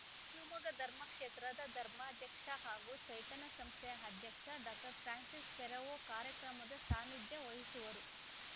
ಶಿವಮೊಗ್ಗ ಧರ್ಮಕ್ಷೇತ್ರದ ಧರ್ಮಾಧ್ಯಕ್ಷ ಹಾಗೂ ಚೈತನ್ಯ ಸಂಸ್ಥೆಯ ಅಧ್ಯಕ್ಷ ಡಾಕ್ಟರ್ ಫ್ರಾನ್ಸಿಸ್‌ ಫೆರೋವೊ ಕಾರ್ಯಕ್ರಮದ ಸಾನ್ನಿಧ್ಯ ವಹಿಸುವರು